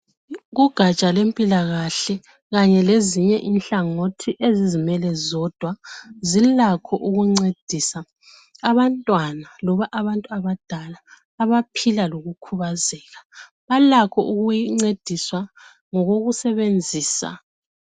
Kugatsha lwempilakahle kanye lezinye ingatsha ezizimele zodwa zilakho ukuncedisa abantwana loba abantu abadala abaphila lokukhubazeka .Balakho ukuncediswa ngokoku sebenzisa.